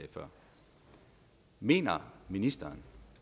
før mener ministeren